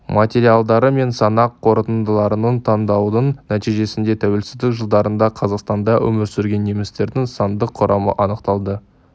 материалдары мен санақ қорытындыларын талдаудың нәтижесінде тәуелсіздік жылдарында қазақстанда өмір сүрген немістердің сандық құрамы анықталды